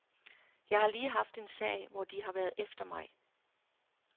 Jeg har lige haft en sag, hvor de har været efter mig.